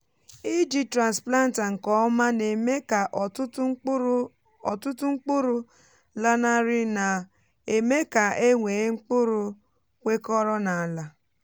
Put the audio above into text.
iji transplanter nke ọma na-eme ka ọtụtụ mkpụrụ ọtụtụ mkpụrụ lanarị na-eme ka e nwee mkpụrụ kwekọrọ n’ala.